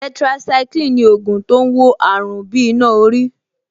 Tetracycline ni ògùn tó ń wo àrùn bí iná orí